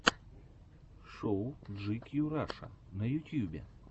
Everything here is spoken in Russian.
шоу джикью раша на ютьюбе